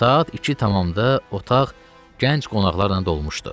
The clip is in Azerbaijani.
Saat iki tamamda otaq gənc qonaqlarla dolmuşdu.